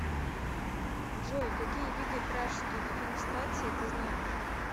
джой какие виды пражские дефенестрации ты знаешь